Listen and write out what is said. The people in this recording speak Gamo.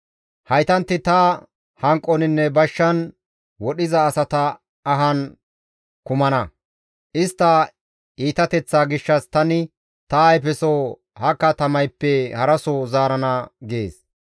‹Haytanti ta hanqoninne bashshan wodhiza asata ahan kumana; istta iitateththaa gishshas tani ta ayfeso ha katamayppe haraso zaarana› gees.